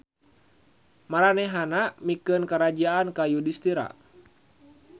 Maranehanana mikeun karajaan ka Yudistira.